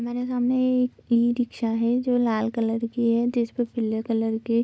हमारे सामने एक इ रिक्शा है जो लाल कलर के हैं जिस पे पीले कलर के --